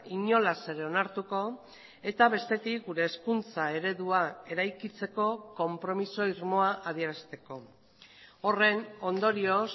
inolaz ere onartuko eta bestetik gure hezkuntza eredua eraikitzeko konpromiso irmoa adierazteko horren ondorioz